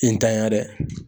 I ntanya dɛ